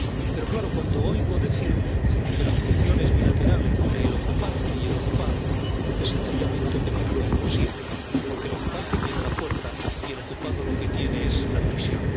Pero claro, cuando oigo decir que la solución es bilateral entre el ocupante y el ocupado, esto es sencillamente imposible, porque el ocupante tiene la fuerza y el ocupado lo que tiene es la prisión.